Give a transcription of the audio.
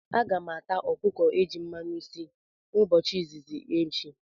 Aga m ata okuko eji mmanu si mbochi izizi m echi